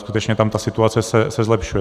Skutečně tam ta situace se zlepšuje.